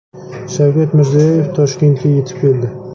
Shavkat Mirziyoyev Toshkentga yetib keldi.